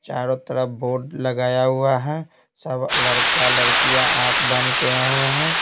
चारों तरफ बोर्ड लगाया हुआ है सब लड़का लड़कियां आंख बंद किए हुए हैं।